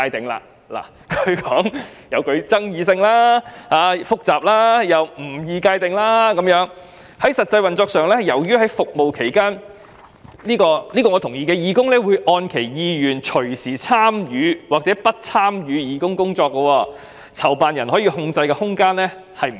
政府說加入該詞具爭議性、複雜，而該詞又不易界定，因為"在實際運作上，由於在服務期間，義工一般會按其意願隨時參與或不參與義工工作，籌辦人可控制的空間不多"。